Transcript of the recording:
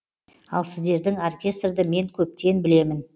ал сіздердің оркестрді мен көптен білемін